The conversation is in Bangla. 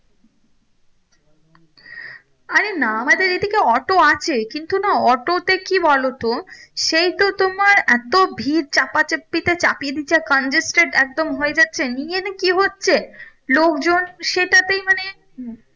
আরে না আমাদের এদিকে অটো আছে কিন্তু না অটো তে কি বলো তো সেই তো তোমার এতো ভিড় চাপা চাপিতে চাপিয়ে দিচ্ছে congested একদম হয়ে যাচ্ছে কি হচ্ছে লোক জন সেটাতেই মানে